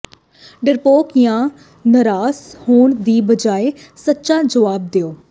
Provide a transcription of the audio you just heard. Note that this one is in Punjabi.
ਡਰਪੋਕ ਜਾਂ ਨਾਰਾਜ਼ ਹੋਣ ਦੀ ਬਜਾਇ ਸੱਚਾ ਜਵਾਬ ਦਿਓ